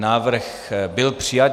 Návrh byl přijat.